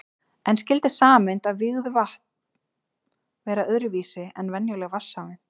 En skyldi sameind af vígðu vatn vera öðru vísi en venjuleg vatnssameind?